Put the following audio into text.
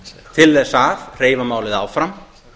til þess að hreyfa málið áfram